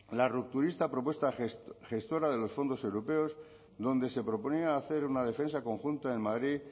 la rupturista propuesta gestora de los fondos europeos donde se proponía hacer una defensa conjunta en madrid